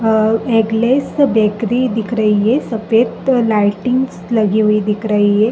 Egg less bakery दिख रही है। सफेद लाइटिंग्स लगी हुई दिख रही हैं।